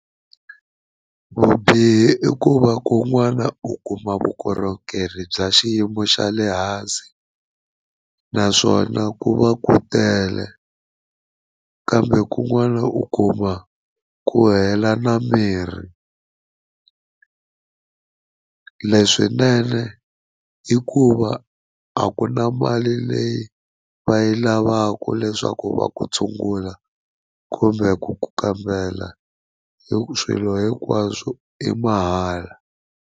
Vubihi i ku va ku n'wana u kuma vukorhokeri bya xiyimo xa le hansi naswona ku va ku tele kambe kun'wana u kuma ku hela na mirhi leswinene i ku va a ku na mali leyi va yi lavaka leswaku va ku tshungula kumbe ku ku kambela hi ku swilo hinkwaswo i mahala.